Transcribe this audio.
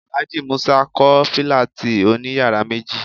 Alhaji musa ń kọ Fílátì òní yàrá méji